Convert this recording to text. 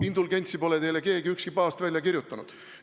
Indulgentsi pole teile keegi, ükski paavst välja kirjutanud.